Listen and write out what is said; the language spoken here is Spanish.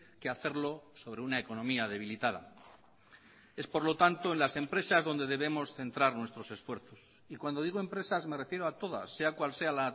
que hacerlo sobre una economía debilitada es por lo tanto en las empresas donde debemos centrar nuestros esfuerzos y cuando digo empresas me refiero a todas sea cual sea